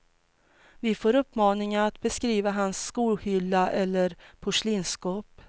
Vi får uppmaningen att beskriva hans skohylla eller porslinsskåp.